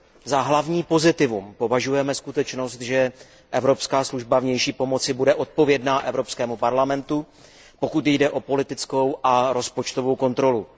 Za hlavní pozitivum považujeme skutečnost, že Evropská služba pro vnější činnost bude odpovědná Evropskému parlamentu, pokud jde o politickou a rozpočtovou kontrolu.